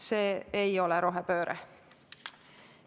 See ei ole rohepööre.